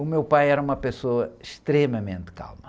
O meu pai era uma pessoa extremamente calma.